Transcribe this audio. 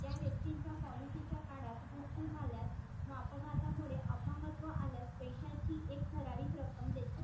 त्या व्यक्तींच्या पॉलिसीच्या काळात मृत्यू झाल्यास व अपघातामुळे अपंगत्व आल्यास पैशाची एक ठराविक रक्कम देती